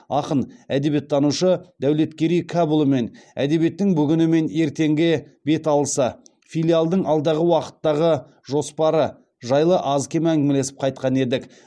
ақын әдебиеттанушы дәулеткерей кәпұлымен әдебиеттің бүгіні мен ертеңге беталысы филиалдың алдағы уақыттағы жоспары жайлы аз кем әңгімелесіп қайтқан едік